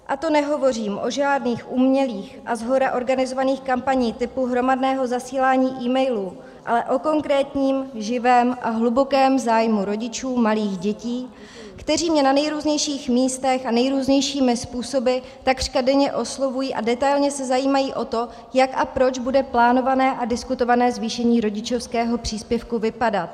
A to nehovořím o žádných umělých a shora organizovaných kampaních typu hromadného zasílání e-mailů, ale o konkrétním, živém a hlubokém zájmu rodičů malých dětí, kteří mě na nejrůznějších místech a nejrůznějšími způsoby takřka denně oslovují a detailně se zajímají o to, jak a proč bude plánované a diskutované zvýšení rodičovského příspěvku vypadat.